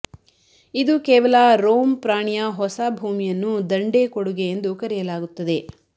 ಇದು ಕೇವಲ ರೋಮ್ ಪ್ರಾಣಿಯ ಹೊಸ ಭೂಮಿಯನ್ನು ದಂಡೇ ಕೊಡುಗೆ ಎಂದು ಕರೆಯಲಾಗುತ್ತದೆ